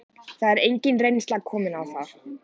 Það er engin reynsla komin á það.